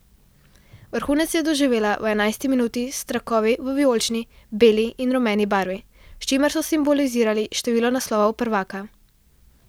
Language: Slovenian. Vrhunec je doživela v enajsti minuti s trakovi v vijolični, beli in rumeni barvi, s čimer so simbolizirali število naslovov prvaka.